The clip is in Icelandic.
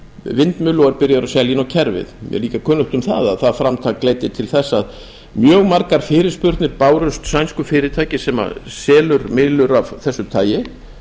vindmyllu og byrjaður að selja á kerfið mér er líka kunnugt um það að það framtak leiddi til þess að mjög margar fyrirspurnir bárust sænsku fyrirtæki sem selur myllur af þessu tagi